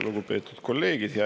Lugupeetud kolleegid!